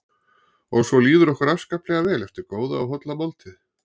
Og svo líður okkur afskaplega vel eftir góða og holla máltíð.